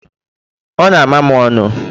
ọ na-ama m ọnụ.